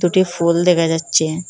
দুটি ফুল দেখা যাচ্ছে।